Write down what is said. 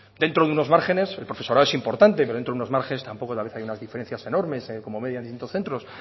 dentro de unos márgenes el profesorado es importante pero dentro de unos márgenes tampoco hay unas diferencias enormes como media en distintos centros